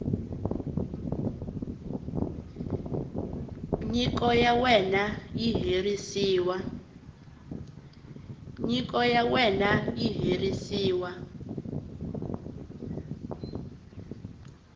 nyiko ya wena yi herisiwa